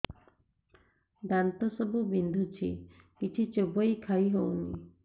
ଦାନ୍ତ ସବୁ ବିନ୍ଧୁଛି କିଛି ଚୋବେଇ ଖାଇ ହଉନି